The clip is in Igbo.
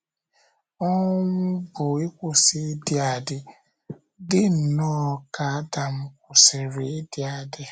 Ọnwụ bụ ịkwụsị ịdị adị, dị nnọọ ka Adam kwụsịrị ịdị adị.